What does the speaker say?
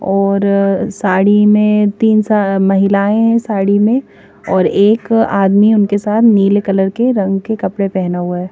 और साड़ी में तीन सा महिलाएं हैं साड़ी में और एक आदमी उनके साथ नीले कलर के रंग के कपड़े पहेना हुआ है।